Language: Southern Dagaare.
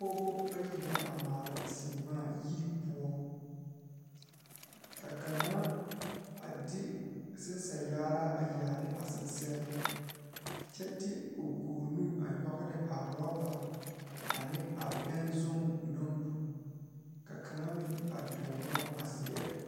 pɔgeba bayi la a laŋ zeŋ a dɔɔ kaŋ naŋ seɛ traza pelaa pegle la gane o nu poɔ ane magdalee a pɔge kaŋa meŋ zeŋ la koo niŋe soga ba saa kyɛ kaa dɔɔ kaŋa ane a pɔge kaŋa meŋ a dɔɔna a ziɛre.